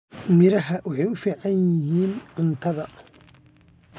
Miraha waxay u fiican yihiin cuntada.